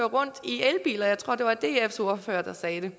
rundt i elbiler jeg tror det var dfs ordfører der sagde det